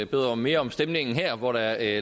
bedre og mere om stemningen her hvor der